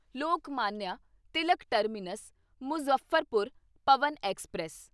Lokmanya Tilak terminus Muzaffarpur Pawan express